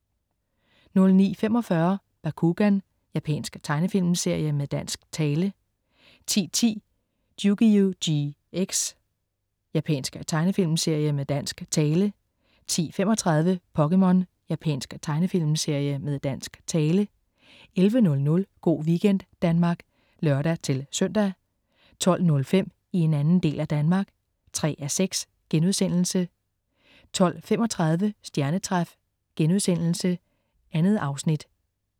09.45 Bakugan. Japansk tegnefilmserie med dansk tale 10.10 Yugioh GX. Japansk tegnefilmserie med dansk tale 10.35 POKéMON. Japansk tegnefilmserie med dansk tale 11.00 Go' weekend Danmark (lør-søn) 12.05 I en anden del af Danmark 3:6* 12.35 Stjernetræf.* 2 afsnit